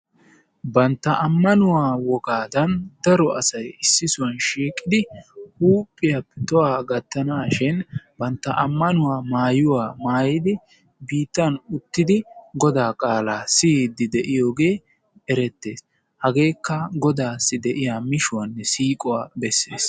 Bantta ammanuwa wogaadan daro asay issisohuwan shiiqqi huuphphiyappe tohuwa gattanaashin banttaa ammanuwa maayuwa maayidi biittan uttidi Godaa qaalaa siyidi de'iyogee erettees. Hageekka Godaassi diya mishuwanne siiquwa bessees.